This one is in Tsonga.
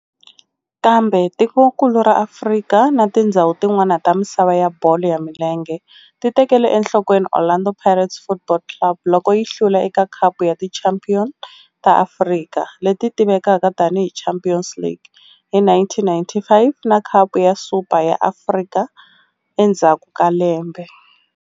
Kambe tikonkulu ra Afrika na tindzhawu tin'wana ta misava ya bolo ya milenge ti tekele enhlokweni Orlando Pirates Football Club loko yi hlula eka Khapu ya Tichampion ta Afrika, leti tivekaka tani hi Champions League, hi 1995 na Khapu ya Super ya Afrika endzhaku ka lembe.